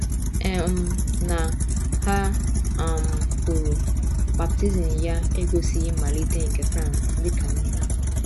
um Na, ha um kwuru, baptizim ya egosighị mmalite nke France dị ka mba.